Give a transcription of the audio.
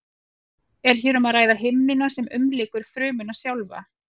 er hér um að ræða himnuna sem umlykur frumuna sjálfa